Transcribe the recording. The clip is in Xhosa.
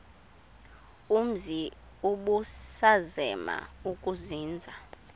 umzi ubusazema ukuzinza